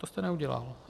To jste neudělal.